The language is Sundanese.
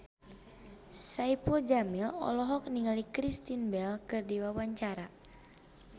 Saipul Jamil olohok ningali Kristen Bell keur diwawancara